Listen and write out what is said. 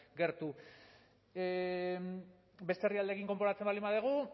gertu beste herrialdeekin konparatzen baldin badugu